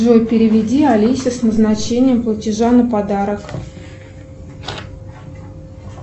джой переведи алисе с назначением платежа на подарок